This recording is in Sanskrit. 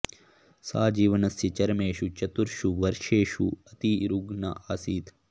सा जीवनस्य चरमेषु चतुर्षु वर्षेषु अति रुग्णा आसीत्